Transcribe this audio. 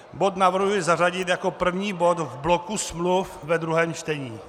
Bod navrhuji zařadit jako první bod v bloku smluv ve druhém čtení.